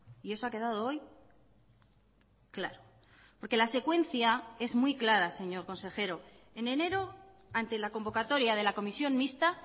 y eso ha quedado hoy claro porque la secuencia es muy clara señor consejero en enero ante la convocatoria de la comisión mixta